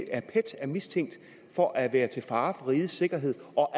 af pet er mistænkt for at være til fare for rigets sikkerhed og